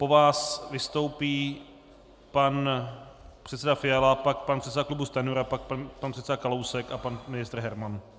Po vás vystoupí pan předseda Fiala, pak pan předseda klubu Stanjura, pak pan předseda Kalousek a pan ministr Herman.